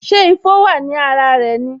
Ṣé ifo wa ní ara rẹ